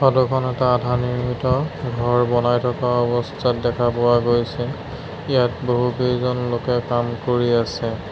Photo খন এটা আধা নিৰ্মিত ঘৰ বনাই থকা অৱস্থাত দেখা পোৱা গৈছে ইয়াত বহুকেইজন লোকে কাম কৰি আছে।